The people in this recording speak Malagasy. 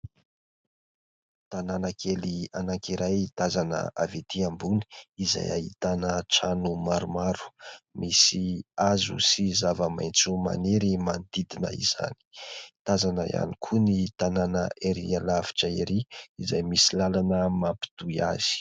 Tanàna kely anankiray tazana avy ety ambony izay ahitana trano maromaro, misy hazo sy zava-maitso maniry manodidina izany. Tazana ihany koa ny tanàna erỳ alavitra erỳ izay misy lalana mampitohy azy.